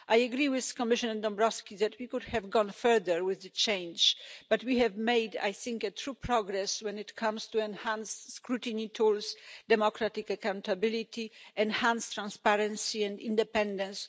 I agree with Commissioner Dombrovskis that we could have gone further with the change, but we have made, I think, true progress when it comes to enhanced scrutiny tools, democratic accountability, enhanced transparency and independence.